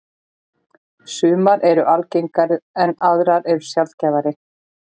Sumar eru algengar en aðrar sjaldgæfari.